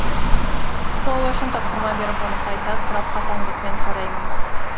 сол үшін тапсырма беріп оны қайта сұрап қатаңдықпен қараймын